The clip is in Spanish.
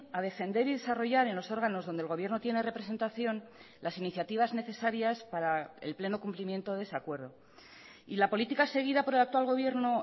a defender y desarrollar en los órganos donde el gobierno tiene representación las iniciativas necesarias para el pleno cumplimiento de ese acuerdo y la política seguida por el actual gobierno